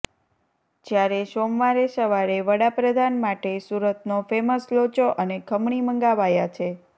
જ્યારે સોમવારે સવારે વડાપ્રધાન માટે સુરતનો ફેમસ લોચો અને ખમણી મંગાવાયા છે